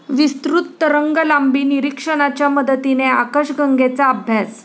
विस्तृत तरंगलांबी निरीक्षणाच्या मदतीने आकाशगंगेचा अभ्यास